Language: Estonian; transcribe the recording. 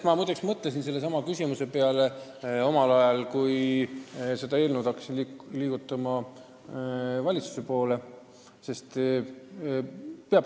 Ma muide mõtlesin sellesama küsimuse peale, kui ma hakkasin seda eelnõu valitsuse poole saatma.